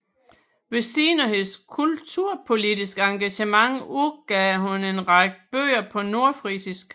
Ved siden af hendes kulturpolitiske engagement udgav hun en række bøger på nordfrisisk